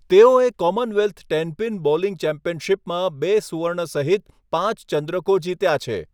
તેઓએ Commonwealth tenpin bowling ચેમ્પિયનશીપમાં બે સુવર્ણ સહિત પાંચ ચંદ્રકો જીત્યા છે.